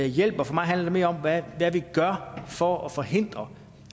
hjælper for mig handler det mere om hvad vi gør for at forhindre